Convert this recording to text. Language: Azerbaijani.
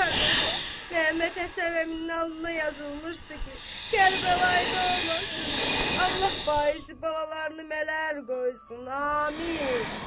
Qardaş, Məhəmməd Həsən əmin alnına yazılmışdı ki, Kərbəlaya da olmasın, Allah baisi balalarını mələr qoysun, amin.